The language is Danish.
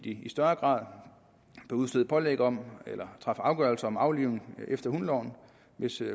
i større grad kunne udstede pålæg om eller træffe afgørelse om aflivning efter hundeloven hvis